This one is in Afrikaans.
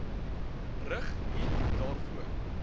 rig eat daarvoor